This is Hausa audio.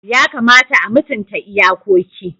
Yakamata a mutunta iyakoki.